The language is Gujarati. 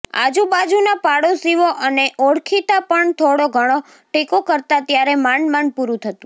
આજુ બાજુના પાડોશીઓ અને ઓળખીતા પણ થોડો ઘણો ટેકો કરતા ત્યારે માંડમાંડ પૂરું થતું